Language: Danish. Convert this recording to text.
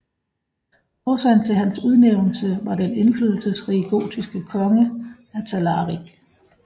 Årsagen til hans udnævnelse var den indflydelsesrige gotiske konge Atalarik